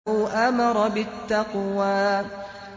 أَوْ أَمَرَ بِالتَّقْوَىٰ